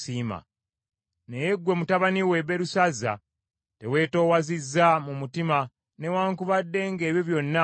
“Naye ggwe mutabani we, Berusazza, teweetoowazizza mu mutima newaakubadde ng’ebyo byonna wabimanya.